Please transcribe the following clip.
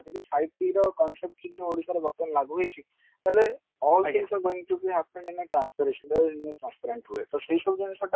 ଯଦି concept ଓଡିଶାରେ ବର୍ତମାନ ଲାଗୁହେଇଛି ତାହେଲେ ଜିନିଷ ଯେମତି କି ଆସୁଛି ଯେମତି transference ତ ସେଇ ସବୁ ଜିନିଷ ଟା